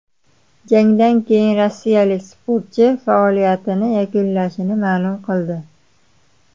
Jangdan keyin rossiyalik sportchi faoliyatini yakunlashini ma’lum qildi .